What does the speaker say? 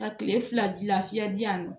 Ka kile fila lafiya di yan nɔ